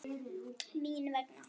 Mín vegna.